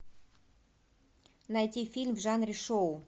найти фильм в жанре шоу